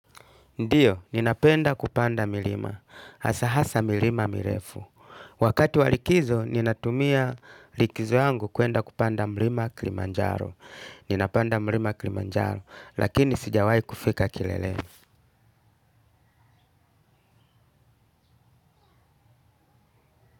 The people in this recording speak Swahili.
Ndiyo, ninapenda kupanda milima. Hasa hasa milima mirefu. Wakati wa likizo, ninatumia likizo yangu kwenda kupanda mlima Kilimanjaro. Ninapanda mlima Kilimanjaro, lakini sijawai kufika kilele.